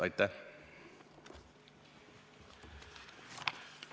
Aitäh!